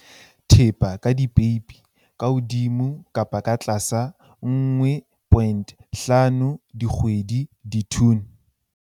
Thepa ka dipeipi, ±1,5 dikgwedi, ditone.